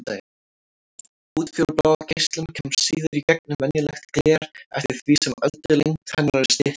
Útfjólublá geislun kemst síður í gegnum venjulegt gler eftir því sem öldulengd hennar er styttri.